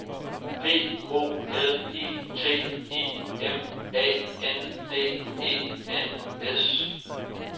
P O L I T I M A N D E N S